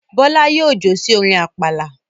Bọ́lá yóò jó sí orin àpàlà.